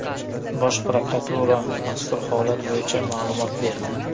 Bosh prokuratura mazkur holat bo‘yicha ma’lumot berdi .